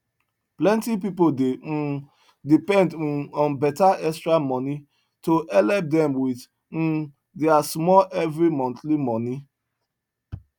plenti pipu dey um depend um on beta extra moni to helep dem wit um deir small everi montly moni